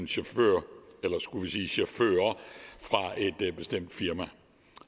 chauffører fra et bestemt firma